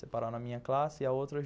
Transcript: Separaram a minha classe e a outra.